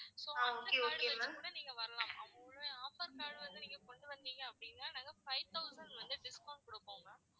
so அந்த card கூட நீங்க வரலாம் offer card நீங்க கொண்டு வந்தீங்க அப்படின்னா நாங்க five thousand வந்து discount குடுப்போம் ma'am